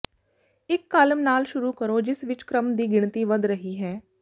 ਇਕ ਕਾਲਮ ਨਾਲ ਸ਼ੁਰੂ ਕਰੋ ਜਿਸ ਵਿਚ ਕ੍ਰਮ ਦੀ ਗਿਣਤੀ ਵਧ ਰਹੀ ਹੈ